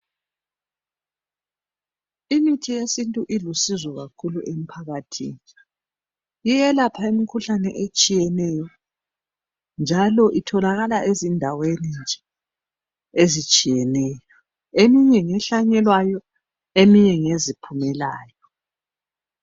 Imithi yesintu ilusizo kakhulu emphakathini. Iyelapha imkhuhlane etshiyeneyo, njalo itholakala ezindaweni nje ezitshiyeneyo. Eminye ngehlanyelwayo eminye ngeziphumelayo.